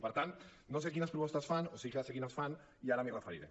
i per tant no sé quines propostes fan o sí que sé quines fan i ara m’hi referiré